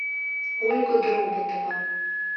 ольга дроботова